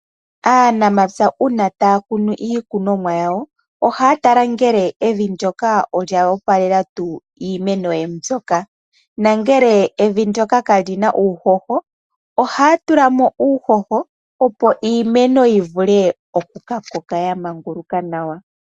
Aanamapya uuna ta yakunu iikunomwa yawo oha ya tala ngele Evi nyoka olya opalela tuu iimeno ye mbulyoka na ngele Evi ndyoka ka li na uuhoho oha ya tulamo uuhoho opo iimeno yi vule oku ka koka ya maguluka nawa.